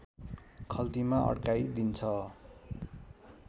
खल्तीमा अड्काइदिन्छ